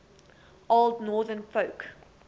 old northern folk